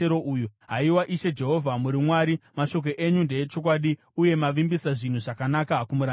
Haiwa Ishe Jehovha, muri Mwari! Mashoko enyu ndeechokwadi, uye mavimbisa zvinhu zvakanaka kumuranda wenyu.